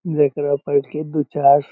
जेकरा बैठ के दू-चार --